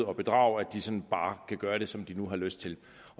og bedrage sådan bare kan gøre som de har lyst til